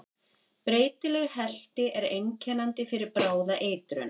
Breytileg helti er einkennandi fyrir bráða eitrun.